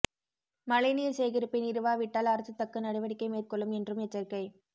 மழை நீர் சேகரிப்பை நிறுவாவிட்டால் அரசு தக்க நடவடிக்கை மேற்கொள்ளும் என்றும் எச்சரிக்கை